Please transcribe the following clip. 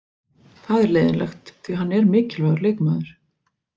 Það er leiðinlegt því hann er mikilvægur leikmaður.